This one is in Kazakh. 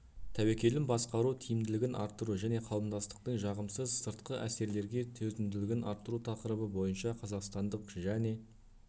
тәуекелін басқару тиімділігін арттыру және қауымдастықтың жағымсыз сыртқы әсерлерге төзімділігін арттыру тақырыбы бойынша қазақстандық және